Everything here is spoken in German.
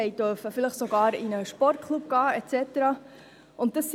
Sie durften vielleicht sogar in einen Sportklub gehen und so weiter.